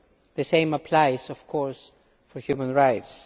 The same applies of course to human rights.